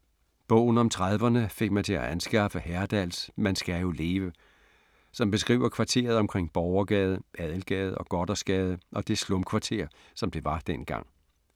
Bogen om 30’erne fik mig til at anskaffe Herdals Man skal jo leve, som beskriver kvarteret omkring Borgergade, Adelgade og Gothersgade og det slumkvarter, som det var dengang.